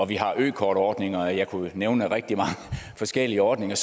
vi har en økortordning og jeg kunne nævne rigtig mange forskellige ordninger